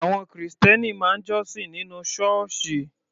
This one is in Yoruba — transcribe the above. Àwọn Kìrìsìtẹ́ẹ́nì máa ń jọ́sìn nínú Ṣọ́ọ́ṣì